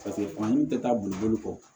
tɛ taa boliboli kɔ